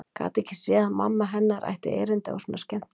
Gat ekki séð að mamma hennar ætti erindi á svona skemmtikvöld.